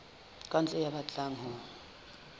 ka ntle ya batlang ho